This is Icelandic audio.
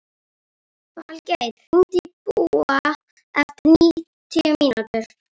Falgeir, hringdu í Búa eftir níutíu mínútur.